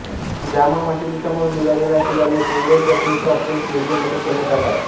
जामा मशिदीसमोर मिळालेला शिलालेख मुंबईच्या प्रिन्स ऑफ वेल्स म्युझियममध्ये ठेवण्यात आला आहे